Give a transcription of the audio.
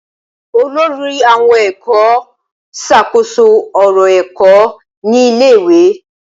Olórí àwon èkó n ṣàkóso òrò ẹ́kọ́ ni ilé ìwé